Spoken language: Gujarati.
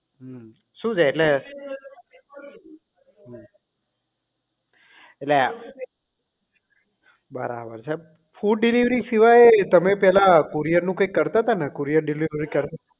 હમ્મ શું છે એટલે હમ એટલે આ બરાબર છે food delivery સિવાય તમને પહેલા courier નું કંઈક કરતા હતા ને courier delivery service